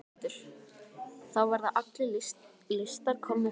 Oddur: Þá verða allir listar komnir fram?